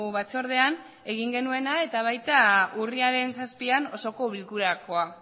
batzordean egin genuena eta baita urriaren zazpian osoko bilkurakoa